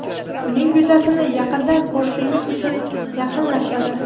uning yuzasini yaqindan ko‘rishingiz uchun yaqinlashadi.